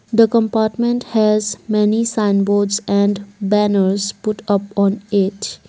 the compartment has many signboards and banners put up on it.